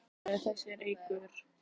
Björn Þorláksson: Eitraður þessi reykur?